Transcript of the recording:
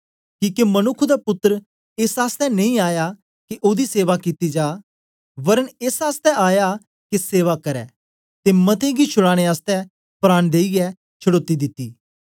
किके मनुक्ख दा पुत्तर एस आसतै नेई आया के ओदी सेवा कित्ती जा वरन् एस आसतै आया के सेवा करै ते मतें गी छुडाने आसतै प्राण देईयै छडौती दिती